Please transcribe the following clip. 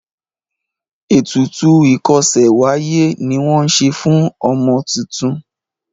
ètùtù ikose w'aye ní wón ṣe fún ọmọ títún.